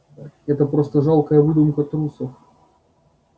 это просто жалкая выдумка трусов